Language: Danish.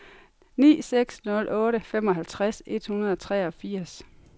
ni seks nul otte femoghalvtreds et hundrede og treogfirs